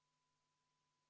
V a h e a e g